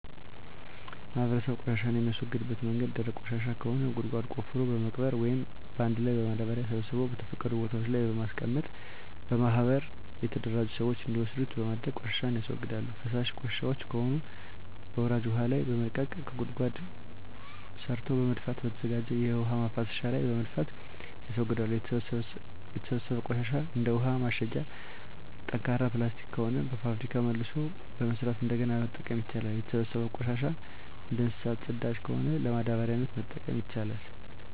ማህበረሰቡ ቆሻሻን የሚያስወግድበት መንገድ ደረቅ ቆሻሻ ከሆነ ጉድጓድ ቆፍሮ በመቅበር ወይም አንድ ላይ በማዳበሪያ ሰብስቦ በተፈቀዱ ቦታወች ላይ በማስቀመጥ በማህበር የተደራጁ ስዎች እንዲወስዱት በማድረግ ቆሻሻን ያስወግዳሉ። ፈሳሽ ቆሻሻወች ከሆኑ በወራጅ ውሀ ላይ በመልቀቅ ከጓሮ ጉድጓድ ሰርቶ በመድፋትና በተዘጋጀ የውሀ መፍሰሻ ላይ በመድፋት ያስወግዳሉ። የተሰበሰበው ቆሻሻ እንደ ውሀ ማሸጊያ ጠንካራ ፕላስቲክ ከሆነ በፋብሪካ መልሶ በመስራት እንደገና መጠቀም ይቻላል። የተሰበሰበው ቆሻሻ እንደ እንሰሳት ፅዳጅ ከሆነ ለማዳበሪያነት መጠቀም ይቻላል።